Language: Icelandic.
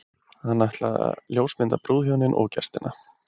Hann ætlaði að ljósmynda brúðhjónin og gestina.